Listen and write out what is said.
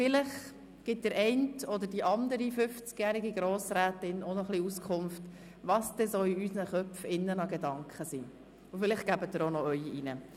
Vielleicht gibt der eine 50jährige Grossrat oder die andere 50-jährige Grossrätin ein wenig Auskunft, welche Gedanken in unseren Köpfen sind, und vielleicht bringen auch Sie Ihre Gedanken ein.